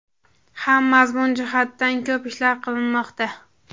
ham mazmun jihatidan ko‘p ishlar qilinmoqda.